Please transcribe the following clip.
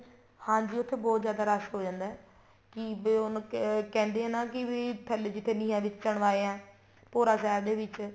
ਹਾਂਜੀ ਉੱਥੇ ਬਹੁਤ ਜਿਆਦਾ ਰੱਸ਼ ਹੋ ਜਾਂਦਾ ਏ ਕੀ ਵੀ ਉਹ ਕਹਿੰਦੇ ਆ ਨਾ ਕੀ ਵੀ ਥੱਲੇ ਜਿੱਥੇ ਨੀਹਾਂ ਵਿੱਚ ਚੁਣਵਾਏ ਏ ਭੋਰਾ ਸਾਹਿਬ ਦੇ ਵਿੱਚ